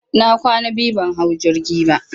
na kwana biyu ban hau jirgi ba.